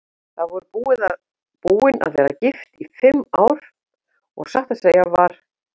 Þau voru búin að vera gift í fimm ár og satt að segja var